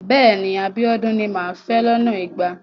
Bẹ́ẹ̀ni. Abíọ́dún ni màá fẹ́ lọ́nà igba.